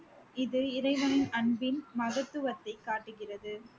இது இறைவனின் அன்பின் மகதுவத்தை காட்டுகிறது